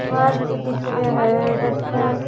park दिख रियो है जटे--